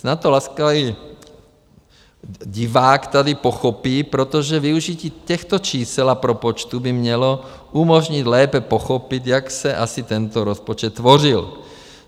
Snad to laskavý divák tady pochopí, protože využití těchto čísel a propočtů by mělo umožnit lépe pochopit, jak se asi tento rozpočet tvořil.